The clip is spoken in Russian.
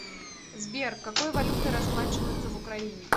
сбер какой валютой расплачиваются в украине